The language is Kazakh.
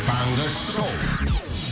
таңғы шоу